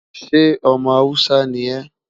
ṣé omọ Hausa ní é?